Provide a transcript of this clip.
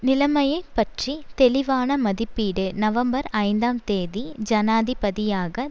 நிலைமையை பற்றி தெளிவான மதிப்பீடு நவம்பர் ஐந்தாம் தேதி ஜனாதிபதியாக